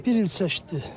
Bir il çəkdi.